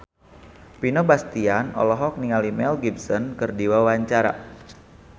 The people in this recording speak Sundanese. Vino Bastian olohok ningali Mel Gibson keur diwawancara